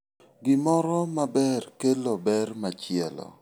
Gimoro maber kelo ber machielo.